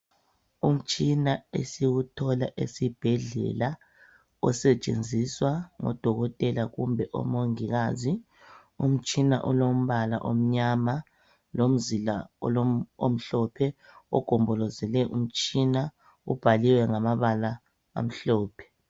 Umtshina esiwuthola esibhedlela osetshenziswa ngodokotela kumbe omongikazi umtshina olombala omnyama lomzila omhlophe ogombolozele umtshina ubhaliwe ngamabala amhlophe.